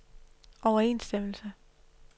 overensstemmelse